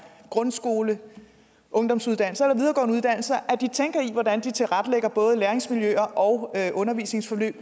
grundskole eller ungdomsuddannelser tænker i hvordan de tilrettelægger både læringsmiljøer og undervisningsforløb